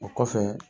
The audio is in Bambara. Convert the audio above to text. O kɔfɛ